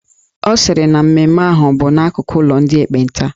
Ọ sịrị na mmemme ahụ bụ n'akụkụ ụlọ ndị ekpenta